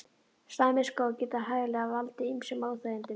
Slæmir skór geta hæglega valdið ýmsum óþægindum.